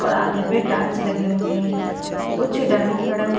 और आधे पे टाइल्स लगे हुए है कुछ डमी खड़े हुए --